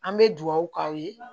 An bɛ dugawu k'aw ye